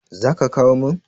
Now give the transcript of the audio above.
zaka kawo min?